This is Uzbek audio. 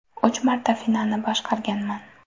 Uch marta finalni boshqarganman.